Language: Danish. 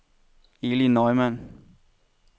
Eli Neumann